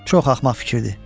Çox axmaq fikirdir.